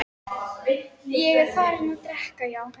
Ég er farinn að drekka, já.